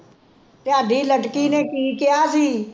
ਤੁਹਾਡੀ ਲਟਕੀ ਨੇ ਕੀ ਕਿਹਾ ਸੀ?